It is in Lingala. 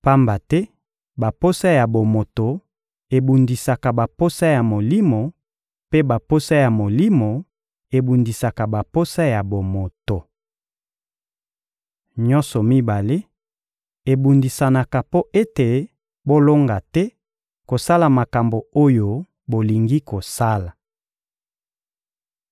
Pamba te baposa ya bomoto ebundisaka baposa ya Molimo, mpe baposa ya Molimo ebundisaka baposa ya bomoto. Nyonso mibale ebundisanaka mpo ete bolonga te kosala makambo oyo bolingi kosala.